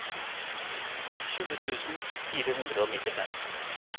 tjue tusen fire hundre og nittifem